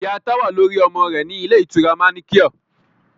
Ìyá Táwà ló rí ọmọ rẹ̀ ní ilé ìtura manequal